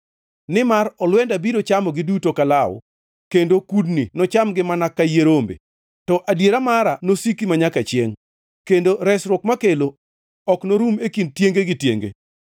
Nimar olwenda biro chamogi duto ka law; kendo kudni nochamgi mana ka yie rombe. To adiera mara nosiki manyaka chiengʼ, kendo resruok makelo ok norum e kind tienge gi tienge.